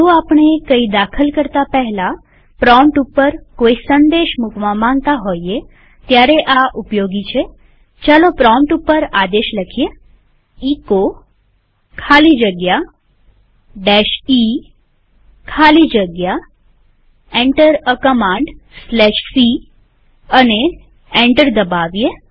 જો આપણે કઈ દાખલ કરતા પહેલા પ્રોમ્પ્ટ ઉપર કોઈ સંદેશ મુકવા માંગતા હોઈએ ત્યારે આ ઉપયોગી છેપ્રોમ્પ્ટ ઉપર આદેશ લખીએ એચો ખાલી જગ્યા e ખાલી જગ્યા Enter એ commandc અને એન્ટર દબાવીએ